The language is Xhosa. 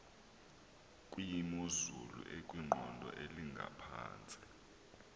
kwimozulu ekwiqondo elingaphantsi